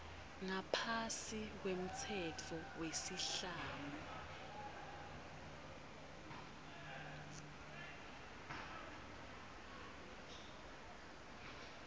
ngaphasi kwemtsetfo wesiislamu